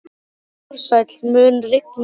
Ársæl, mun rigna í dag?